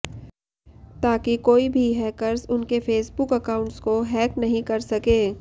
ताकि कोई भी हैकर्स उनके फेसबुक अकाउंट्स को हैक नहीं कर सके